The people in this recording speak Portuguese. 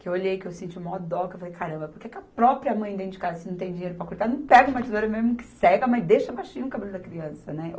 que eu olhei, que eu senti maior dó, que eu falei, caramba, por que que a própria mãe dentro de casa, se não tem dinheiro para cortar, não pega uma tesoura mesmo que cega, mas deixa baixinho o cabelo da criança, né?